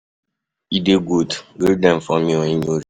E dey good, greet dem for me when you reach.